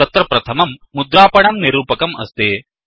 तत्र प्रथमं मुद्रापणं निरूपकं अस्ति